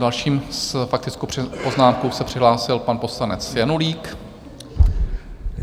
Další s faktickou poznámkou se přihlásil pan poslanec Janulík.